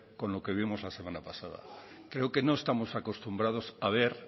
con lo que vimos la semana pasado creo que no estamos acostumbrados a ver